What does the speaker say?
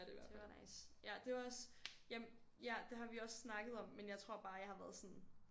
Det var nice. Ja det var også jamen ja det har vi også snakket om men jeg tror bare jeg har været sådan